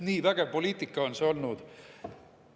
Nii vägev poliitika on see olnud!